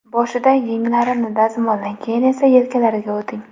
Boshida yenglarini dazmollang, keyin esa yelkalariga o‘ting.